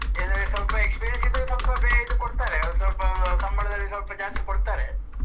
ಇಲ್ಲ ಅಂದ್ರೆ ಸ್ವಲ್ಪ experience ಇದ್ರೆ ಸ್ವಲ್ಪ ಬೇಗ ಇದು ಕೊಡ್ತಾರೆ, ಸ್ವಲ್ಪ ಆಹ್ ಸಂಬಳದಲ್ಲಿ ಸ್ವಲ್ಪ ಜಾಸ್ತಿ ಕೊಡ್ತಾರೆ.